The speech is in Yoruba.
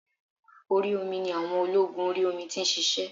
Orí omi ni àwọn ológun orí omi ti nsisé